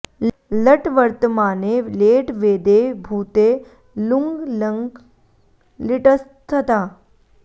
लट् वर्तमाने लेट् वेदे भूते लुङ् लङ् लिटस्तथा